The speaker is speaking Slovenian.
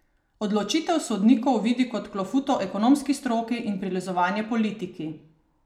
Odločitev sodnikov vidi kot klofuto ekonomski stroki in prilizovanje politiki.